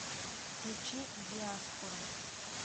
включи диаспора